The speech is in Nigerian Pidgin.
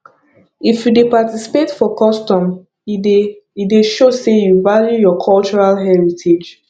if you dey participate for custom e dey e dey show sey you value your cultural heritage